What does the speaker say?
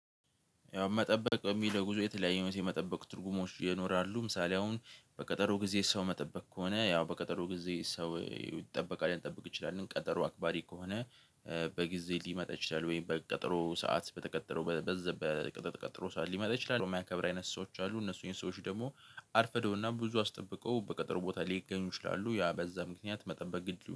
ያው መጠበቅ የሚለው ጉዞ የተለያዩ የመጠበቅ ትርጉሞች ይኖራሉ ምሳሌ አሁን በቀጠሮ ጊዜ ሰው መጠበቅ ከሆነ ያው በቀጠሮ ጊዜ ሰው ይጠበቃል ልንጠብቅ እንችላለን ቀጠሮ አክባሪ ከሆነ። በጊዜ ሊመጣ ይችላል ወይም በቀጠሮ ሰዓት በተቀጠረው በዛ በተቀጠረው ሰዓት ሊመጣ ይችላል የማያከብሩ አይነት ሰዎች አሉ። እነሱ ሰዎች ደግሞ አርፍደውና ብዙ አስጠብቀው በቀጠሮ ቦታ ሊገኙ ይችላሉ። ያ በዛ ምክንያት መጠበቅ ግድ።